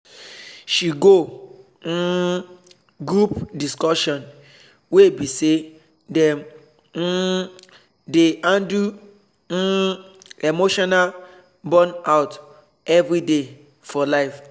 she go um group discussion wey be say dem um dey handle um emotional burnout everyday for life